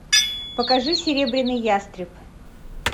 покажи серебряный ястреб